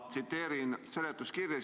Ma tsiteerin seletuskirja.